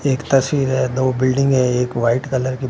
एक तस्वीर है दो बिल्डिंग है एक वाइट कलर की--